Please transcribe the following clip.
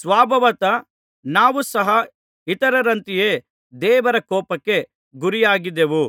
ಸ್ವಭಾವತಃ ನಾವು ಸಹ ಇತರರಂತೆಯೇ ದೇವರ ಕೋಪಕ್ಕೆ ಗುರಿಯಾಗಿದ್ದೆವು